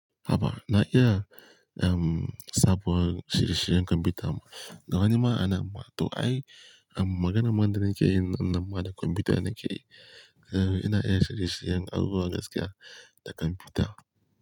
Haba, na iya, um, sabon shirye-shiryen kwamfuta. Ga wani ma anan? Ma to ai, um, magana man da nake yi na ma da kwamfuta nake yi. Eh, ina iya shirye-shiryen har zuwa gaskiya da kwamfuta.